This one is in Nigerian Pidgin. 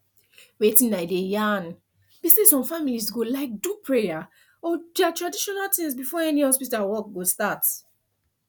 wetin i dey yarn be say some families go like do prayer or their traditional things before any hospital work go start